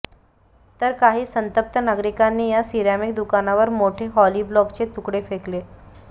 तर काही संतप्त नागरीकांनी या सिरॅमिक दुकानावर मोठे हॉलीब्लॉकचे तुकडे फेकले